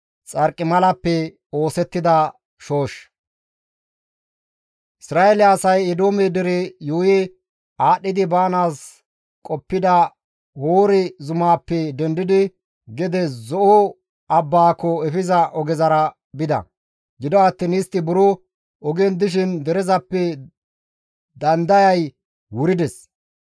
Isra7eele asay Eedoome dere yuuyi aadhdhidi baanaas qoppida Hoore zumaappe dendidi gede Zo7o abbaako efiza ogezara bida; gido attiin istti buro ogen dishin derezappe dandayay wurides.